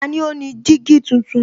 Tani ó ní jígí tuntun?